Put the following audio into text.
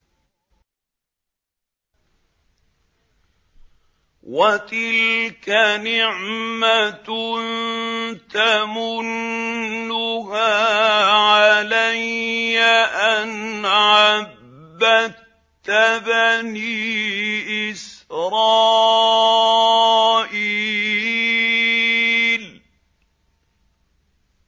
وَتِلْكَ نِعْمَةٌ تَمُنُّهَا عَلَيَّ أَنْ عَبَّدتَّ بَنِي إِسْرَائِيلَ